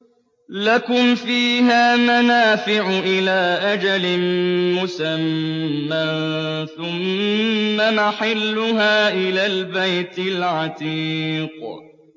لَكُمْ فِيهَا مَنَافِعُ إِلَىٰ أَجَلٍ مُّسَمًّى ثُمَّ مَحِلُّهَا إِلَى الْبَيْتِ الْعَتِيقِ